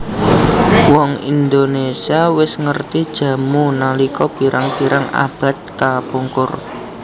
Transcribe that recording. Wong Indonésia wis ngerti jamu nalika pirang pirang abad kapungkur